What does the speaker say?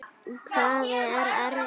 Hvað er eftir fyrir mig?